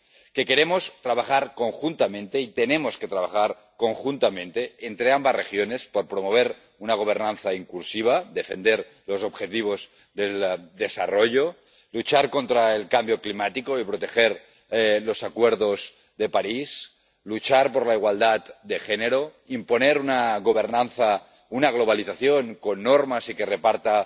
Que queremos trabajar conjuntamente y tenemos que trabajar conjuntamente entre ambas regiones por promover una gobernanza inclusiva, defender los objetivos del desarrollo, luchar contra el cambio climático y proteger los Acuerdos de París, luchar por la igualdad de género, imponer una gobernanza, una globalización con normas y que reparta